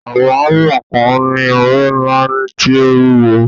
Àwọn hámà kan ni ori ńlá tí ó wúwo.